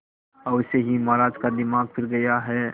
अवश्य ही महाराज का दिमाग फिर गया है